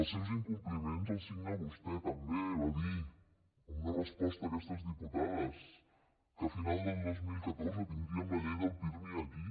els seus incompliments els signa vostè també va dir en una resposta a aquestes diputades que a final del dos mil catorze tindríem la llei del pirmi aquí